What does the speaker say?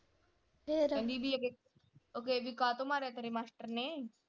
ਫਿਰ, ਕਹਿੰਦੀ ਬੀ ਅੱਗੇ ਕਾਹਤੋਂ ਮਾਰਿਆ ਤੇਰੇ ਮਾਸਟਰ ਨੇ?